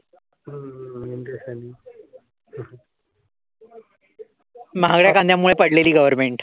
महागड्या कांद्यामुळे पडलेली गवर्मेंट.